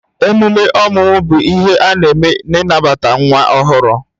Emume ọmụmụ bụ ihe a na-eme n'ịnabata nwa ọhụrụ